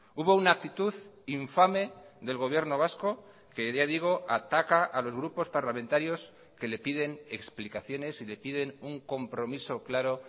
hubo una actitud infame del gobierno vasco que ya digo ataca a los grupos parlamentarios que le piden explicaciones y le piden un compromiso claro